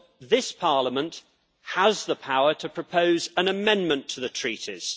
This Parliament has the power to propose an amendment to the Treaties.